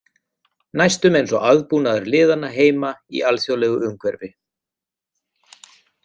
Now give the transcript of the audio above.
Næstum eins og aðbúnaður liðanna heima í alþjóðlegu umhverfi.